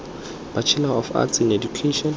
bachelor of arts in education